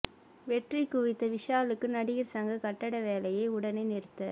வெற்றி குவித்த விஷாலுக்கு நடிகர் சங்க கட்டட வேலையை உடனே நிறுத்த